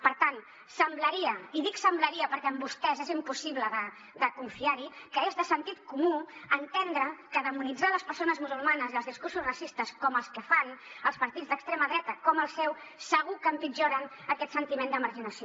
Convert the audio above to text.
per tant semblaria i dic semblaria perquè en vostès és impossible de confiar hi que és de sentit comú entendre que demonitzar les persones musulmanes i els discursos racistes com els que fan els partits d’extrema dreta com el seu segur que empitjoren aquest sentiment de marginació